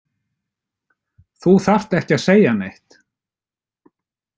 Þú þarft ekki að segja neitt.